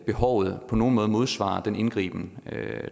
behovet på nogen måde modsvarer den indgriben